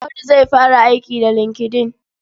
Audu zai fara aiki da LinkedIn.